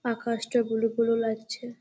আকাশটা blue blue লাগছে।।